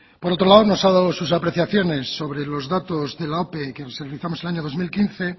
por otro lado nos ha dado sus apreciaciones sobre los datos de la ope que realizamos en el año dos mil quince